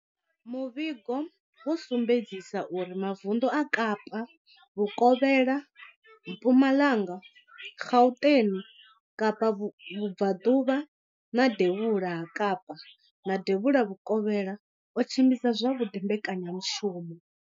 Muvhigo wo sumbedzisa uri mavundu a Kapa vhukovhela, Mpumalanga, Gauteng, Kapa vhubvaḓuvha, devhula ha Kapa na devhula vhukovhela o tshimbidza zwavhuḓi mbekanyamushumo.